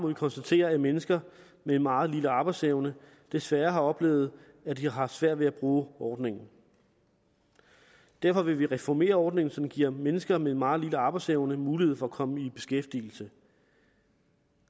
vi konstatere at mennesker med en meget lille arbejdsevne desværre har oplevet at de har haft svært ved at bruge ordningen derfor vil vi reformere ordningen så den giver mennesker med en meget lille arbejdsevne mulighed for at komme i beskæftigelse